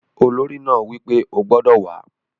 Olórí náà wí pé "o gbodò wàá!"